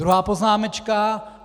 Druhá poznámečka.